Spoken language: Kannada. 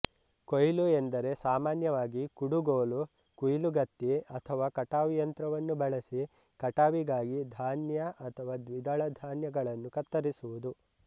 ಕೊಯ್ಲು ಎಂದರೆ ಸಾಮಾನ್ಯವಾಗಿ ಕುಡುಗೋಲು ಕುಯಿಲುಗತ್ತಿ ಅಥವಾ ಕಟಾವು ಯಂತ್ರವನ್ನು ಬಳಸಿ ಕಟಾವಿಗಾಗಿ ಧಾನ್ಯ ಅಥವಾ ದ್ವಿದಳ ಧಾನ್ಯಗಳನ್ನು ಕತ್ತರಿಸುವುದು